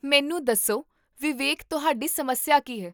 ਮੈਨੂੰ ਦੱਸੋ, ਵਿਵੇਕ, ਤੁਹਾਡੀ ਸਮੱਸਿਆ ਕੀ ਹੈ?